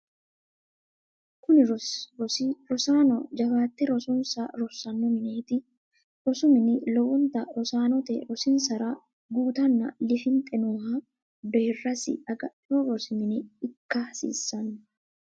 kuni rosi rosaano jawaate rosonsa rossanno mineeti. rosu mini lowonta rosaanote rosinsara guutanna lifinxe nooha deerasi agadhino rosi mine ikka hasiisanno.